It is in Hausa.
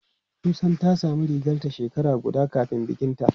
Susan ta samu rigarta shekara guda kafin bikinta.